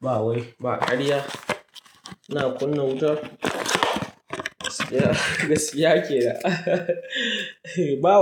Ba wai ba ƙarya. Ina kunna wuta. Gaskiya kenan ba wai.